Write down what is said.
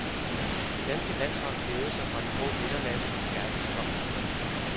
Det danske landshold hævede sig fra den grå midtermasse til verdens top.